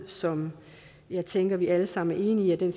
som jeg tænker at vi alle sammen er enige i